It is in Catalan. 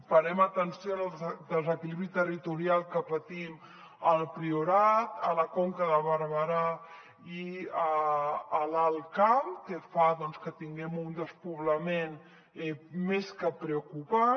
parem atenció al desequilibri territorial que patim al priorat a la conca de barberà i a l’alt camp que fa doncs que tinguem un despoblament més que preocupant